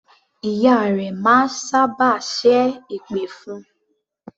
Ìyá rẹ máa sábà ṣẹ́ èpè fún un.